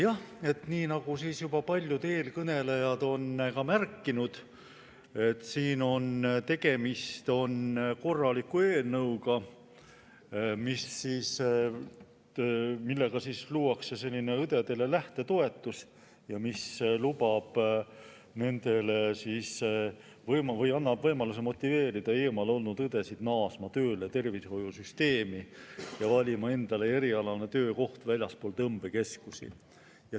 Jah, nii nagu paljud eelkõnelejad on märkinud, tegemist on korraliku eelnõuga, millega luuakse õdedele lähtetoetus ja mis annab võimaluse motiveerida eemal olnud õdesid naasma tööle tervishoiusüsteemi ja valima endale erialane töökoht väljaspool tõmbekeskusi.